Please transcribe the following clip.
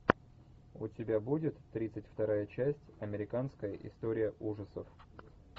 у тебя будет тридцать вторая часть американская история ужасов